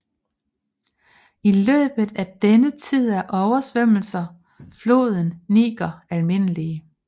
I løbet af denne tid er oversvømmelser floden Niger almindelige